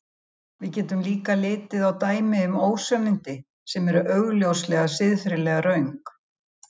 Við getum líka litið á dæmi um ósannindi sem eru augljóslega siðferðilega röng.